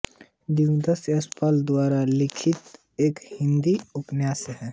दिव्या यशपाल द्वारा लिखित एक हिंदी उपन्यास है